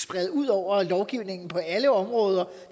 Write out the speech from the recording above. sprede ud over lovgivningen på alle områder